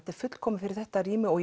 fullkomið fyrir þetta rými og